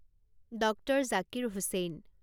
doctor Zakir Hussain